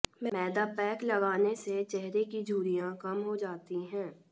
मैदा pack लगाने से चेहरे की झुर्रियां कम हो जाती हैं